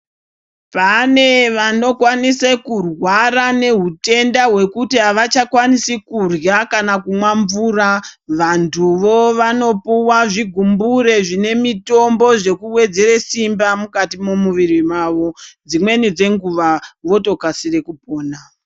Pane vanokwanise kurwara nehutenda hwekuti avachakwanisi kurya kana kumwa mvura vantuwo vanopuwa zvigumbure zvine mitombo zvekuwedzere simba mukati memuviri mavo dzimweni dzenguwa votokasira kupona.